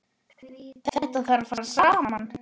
Þetta þarf að fara saman.